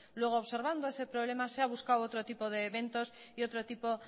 luego observando ese problema se ha buscado otro tipo de eventos y otro tipo